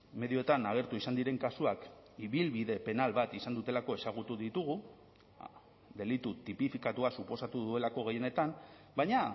medioetan agertu izan diren kasuak ibilbide penal bat izan dutelako ezagutu ditugu delitu tipifikatua suposatu duelako gehienetan baina